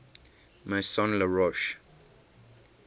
maison la roche